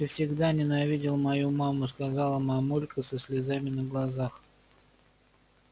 ты всегда ненавидел мою маму сказала мамулька со слезами на глазах